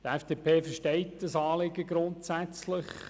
Die FDP hat grundsätzlich Verständnis für das Anliegen.